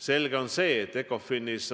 Selge on see, et arutelu ECOFIN-is